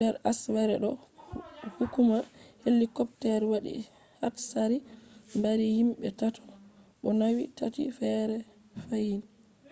nder asawere ɗo hukuma helicopter waɗi hatsari mbari himɓe tati bo nauni tati feere fahin